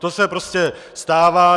To se prostě stává.